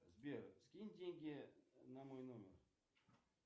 сбер скинь деньги на мой номер